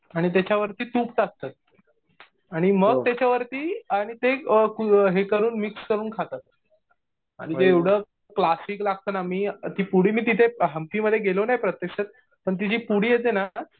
आणि त्याच्यावरती तूप टाकतात. आणि मग त्याच्यावरती आणि हे करून ते मिक्स करू खातात. म्हणजे एवढं क्लासीक लागतं ना. मी ती पुडी मी तिथे हंपीमध्ये गेलो नाही प्रत्यक्षात पण ती जी पुडी येते ना